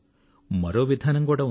మరో విధానం కూడా ఉంది